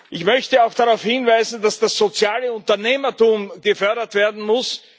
Ich möchte auch darauf hinweisen, dass das soziale Unternehmertum gefördert werden muss.